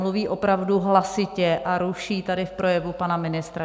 Mluví opravdu hlasitě a ruší tady v projevu pana ministra.